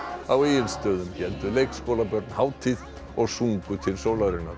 á Egilsstöðum héldu leikskólabörn hátíð og sungu til sólarinnar